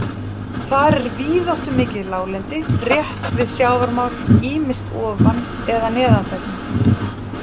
Þar er víðáttumikið láglendi rétt við sjávarmál, ýmist ofan eða neðan þess.